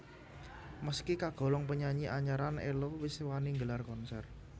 Meski kagolong penyanyi anyaran Ello wis wani nggelar konser